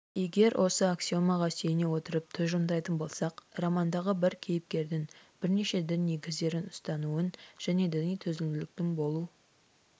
егер осы аксиомаға сүйене отырып тұжырымдайтын болсақ романдағы бір кейіпкердің бірнеше дін негіздерін ұстануын және діни төзімділіктің болу